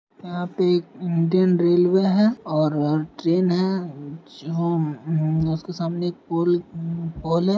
यहाँ पे एक इंडियन रेलवे है और ट्रेन है जो म्म उसके सामने एक पूल म्म पोल है।